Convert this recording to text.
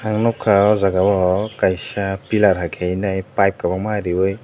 ang o jaga o kaisa piller hai kaiyoe nei pipe kobangma riyoe.